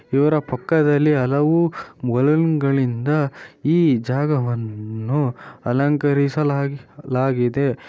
ಇವರ ಪಕ್ಕದಲ್ಲಿ ಹಲವು ಬಲೂನ್ ಗಳಿಂದ ಈ ಜಾಗವನ್ನು ಅಲಂಕರಿಸಲಾಗಿ ಲಾಗಿದೆ .